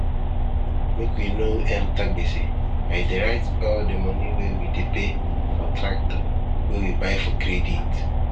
make we no enter gbese i dey write all di moni wey we dey pay for tractor wey we buy for credit